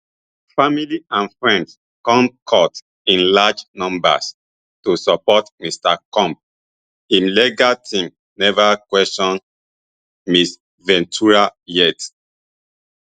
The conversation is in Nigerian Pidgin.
family and friends come court in large numbers to support mr combs im legal team never question ms ventura yet